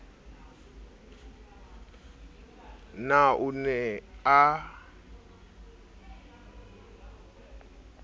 na o ne o a